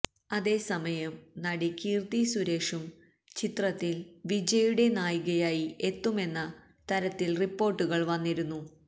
അതേസമയം നടി കീര്ത്തി സൂരേഷും ചിത്രത്തില് വിജയുടെ നായികയായി എത്തുന്നുമെന്ന തരത്തില് റിപ്പോര്ട്ടുകള് വന്നിരുന്നു